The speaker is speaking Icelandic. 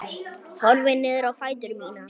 Horfi niður á fætur mína.